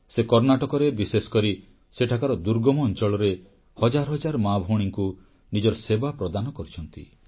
ସେ କର୍ଣ୍ଣାଟକରେ ବିଶେଷକରି ସେଠାକାର ଦୁର୍ଗମ ଅଂଚଳରେ ହଜାର ହଜାର ମାଭଉଣୀଙ୍କୁ ନିଜର ସେବା ପ୍ରଦାନ କରିଛନ୍ତି